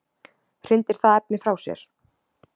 hrindir það efni frá sér